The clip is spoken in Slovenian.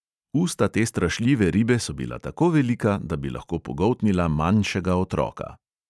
Usta te strašljive ribe so bila tako velika, da bi lahko pogoltnila manjšega otroka.